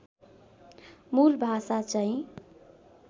मूल भाषा चैँ